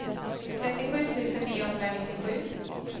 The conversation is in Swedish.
trettiosju tusen niohundranittiosju